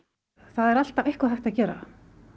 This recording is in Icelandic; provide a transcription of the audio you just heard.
það er alltaf eitthvað hægt að gera